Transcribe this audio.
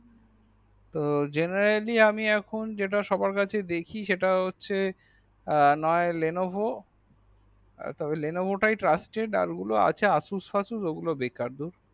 তো generally এখন যেটা নসবার কাছেই দেখি সেটা হচ্ছে না হয় Levono আর Levono তাই trusted আর ওগুলো আছে আসুস ফসুস ওগুলো বেকার